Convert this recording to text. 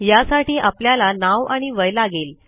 यासाठी आपल्याला नाव आणि वय लागेल